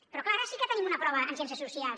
però clar ara sí que tenim una prova en ciències socials